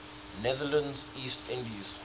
netherlands east indies